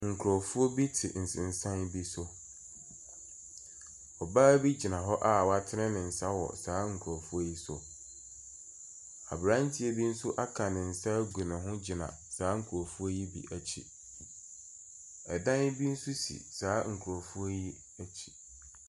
Nkurofoɔ bi te nsensan bi so. Ɔbaa bi gyina hɔ a w'atene ne nsa wɔ saa nkurɔfo yi so. Abranteɛ bi nso aka ne nsa egu ne ho gyina saa nkurɔfoɔ yi bi akyi. Ɛdan bi nso si saaa nkorɔfoɔ yi akyi.